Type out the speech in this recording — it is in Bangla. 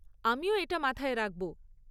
আমিও এটা মাথায় রাখব।